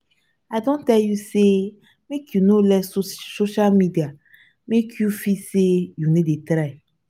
i don tell you sey make you no let social media make you feel sey you no dey try.